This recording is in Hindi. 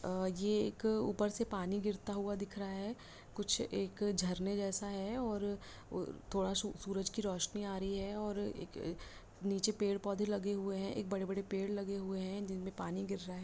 अ ये एक ऊपर से पानी गिरता हुआ दिख रहा है कुछ एक झरने जैसा है और थोड़ा सू सूरज की रोशनी आ रही है और एक नीचे पेड़-पौधे लगे हुए हैं एक बड़े-बड़े पेड़ लगे हुए हैं जिनमें पानी गिर रहा है।